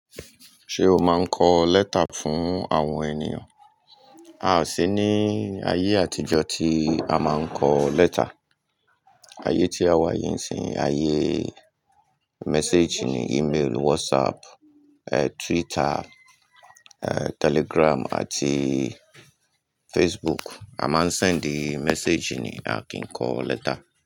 Ṣé o máa ń kọ lẹ́tà fún àwọn ènìyàn? Aà sí ní ayé àtijọ́ tí a máa ń kọ lẹ́tà. Ayé tí a wà yìí sí ayé message ni, email, WhatsApp, eh Twitter, eh Telegram àti Facebook. A máa ń send message ni, a kì ń kọ lẹ́tà.